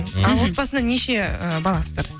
ал отбасыда неше і баласыздар